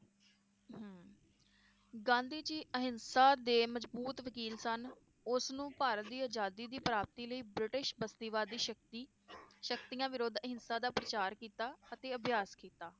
ਗਾਂਧੀ ਜੀ ਅਹਿੰਸਾ ਦੇ ਮਜਬੂਤ ਵਕੀਲ ਸਨ ਉਸ ਨੂੰ ਭਾਰਤ ਦੀ ਅਜਾਦੀ ਦੀ ਪ੍ਰਾਪਤੀ ਲਈ ਬ੍ਰਿਟਿਸ਼ ਬਸਤੀਵਾਦੀ ਸ਼ਕਤੀ ਸ਼ਕਤੀਆਂ ਵਿਰੁੱਧ ਅਹਿੰਸਾ ਦਾ ਪ੍ਰਚਾਰ ਕੀਤਾ ਅਤੇ ਅਭਿਆਸ ਕੀਤਾ